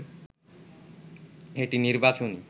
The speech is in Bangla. এটি নির্বাচনী